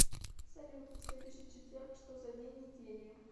салют следующий четверг что за день недели